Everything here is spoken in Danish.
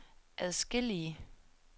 adskillige